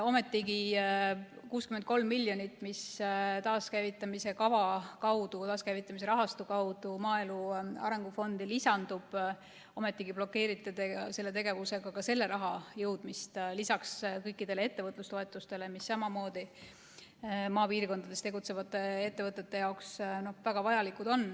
Ometigi see 63 miljonit, mis taaskäivitamise kava või taaskäivitamise rahastu kaudu maaelu arengu fondi lisandub, te blokeerite oma tegevusega ka selle raha jõudmist, lisaks kõikidele ettevõtlustoetustele, mis on samuti maapiirkondades tegutsevate ettevõtete jaoks väga vajalikud.